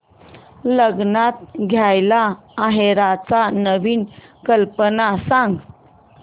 लग्नात द्यायला आहेराच्या नवीन कल्पना सांग